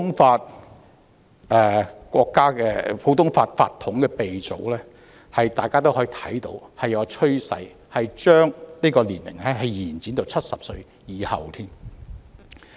大家從普通法法統的鼻祖國家可見，將法官退休年齡延展至70歲以上是大勢所趨。